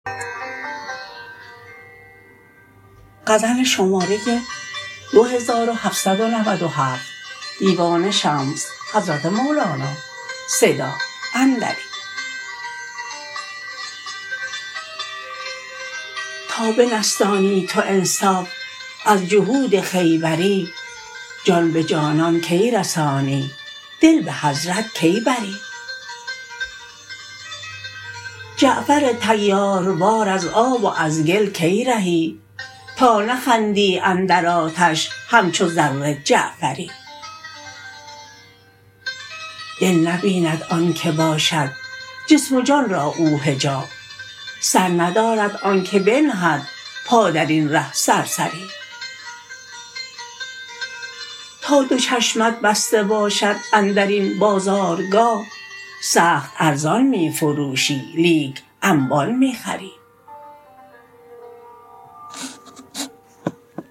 تا بنستانی تو انصاف از جهود خیبری جان به جانان کی رسانی دل به حضرت کی بری جعفر طیاروار ار آب و از گل کی رهی تا نخندی اندر آتش همچو زر جعفری دل نبیند آنک باشد جسم و جان را او حجاب سر ندارد آنک بنهد پا در این ره سرسری تا دو چشمت بسته باشد اندر این بازارگاه سخت ارزان می فروشی لیک انبان می خری